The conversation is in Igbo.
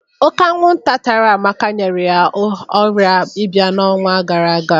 Ọ́ké anwụnta tara Amaka nyere ya ọ̀rịa ịba n'ọnwa gara aga.